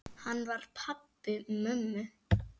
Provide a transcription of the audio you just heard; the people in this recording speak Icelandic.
Hann var pabbi mömmu.